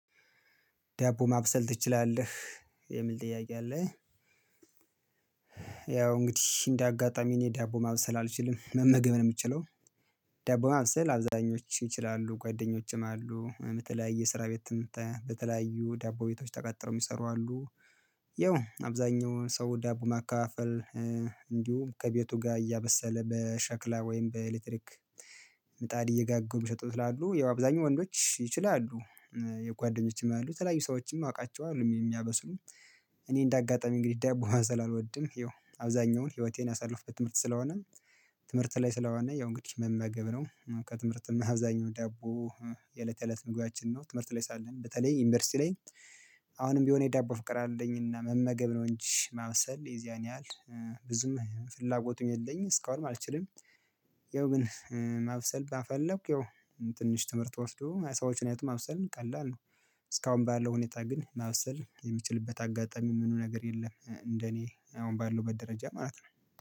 ዳቦ ማብሰል ትችላለህ የሚል ጥያቄ አለ? ያው እንግዲህ እንደ አጋጣሚ እኔ ዳቦ ማብሰል አልችልም መመገብ ነው የምችለው። ዳቦ ማብሰል አብዛኞቹ ይችላሉ ጓደኞችም አሉ በተለያየ ስራ ቤት በተለያዩ ዳቦ ቤቶች ተቀጥረው የሚሰሩ አሉ። ያው አብዛኛውን ሰው ዳቦ ማካፈል እንዲሁም ከቤቱ ጋር እያበሰለ በሸክላ ወይም በኤሌክትሪክ ምጣድ እየጋገሩ የሚሸጡ ስላሉ ያው አብዛኛው ወንዶች ይችላሉ። የጓደኞቼም አሉ የተለያዩ ሰዎችም የማውቃቸሁ አሉ የሚምያበስሉም። እኔ እንደ አጋጣሚ እንግዲህ ዳቦ ማብሰል አልወድም ያው አብዛኛውን ህይወቴን ያሳልፍበት ትምህርት ስለሆነ። ትምህርት ላይ ስለሆነ ያው እንግዲህ መመገብ ነው። ከትምህርትም አብዛኛው ዳቦ የለት የእለት የእለት ምግባችን ነው ትምህርት ላይ ሳለን በተለይ ዩኒቨርሲቲ ላይ። አሁንም ቢሆን የዳቦ ፍቅር አለኝና መመገብ ነው እንጂ ማብሰል የዚያን ያህል ብዙም ፍላጎት የለኝም እስካሁንም አልችልም። ያው ግን ማብሰል ባፈለኩ ያው ትንሽ ትምህርት ወስዶ ሰዎችን አይቶ ማብሰል ቀላል ነው። እስካሁን ባለው ሁኔታ ግን ማብሰል የሚችልበት አጋጣሚ ምንም ነገር የለም እንደኔ አሁን ባለሁበት ደረጃ ማለት ነው